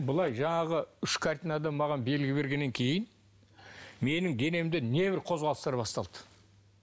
былай жаңағы үш картинадан маған белгі бергеннен кейін менің денемде небір қозғалыстар басталды